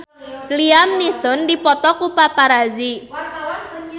Liam Neeson dipoto ku paparazi